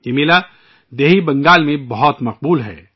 یہ میلہ بنگال کے دیہی علااقوں میں بہت مشہور ہے